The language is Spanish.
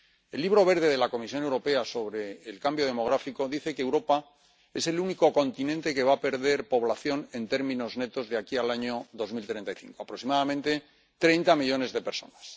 El Libro Verde de la Comisión Europea sobre el cambio demográfico dice que Europa es el único continente que va a perder población en términos netos de aquí al año 2035, aproximadamente 30 millones de personas.